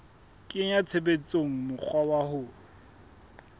kenya tshebetsong mokgwa wa ho